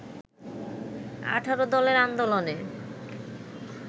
১৮ দলের আন্দোলনে